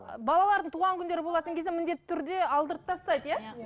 і балалардың туған күндері болатын кезде міндетті түрде алдыртып тастайды иә иә